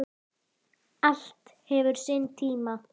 HINSTA KVEÐJA Til elsku Rúnu.